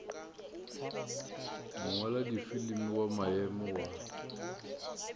mongwaladifilimi wa maemo a wa